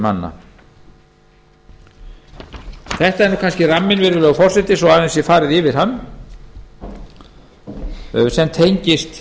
manna þetta er kannski ramminn virðulegi forseti svo aðeins sé farið yfir hann sem tengist